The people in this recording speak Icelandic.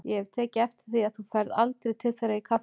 Ég hef tekið eftir því að þú ferð aldrei til þeirra í kaffinu.